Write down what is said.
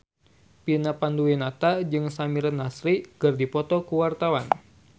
Vina Panduwinata jeung Samir Nasri keur dipoto ku wartawan